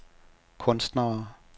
kunstnere